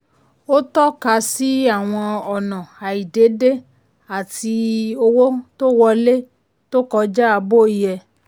ó tọ́ka sí àwọn ọ̀nà àìdédé àti owó tó wọlé tó kọjá bó yẹ.